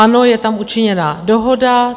Ano, je tam učiněna dohoda.